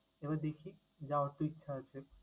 এবার দেখি, যাওয়ার তো ইচ্ছে আছে।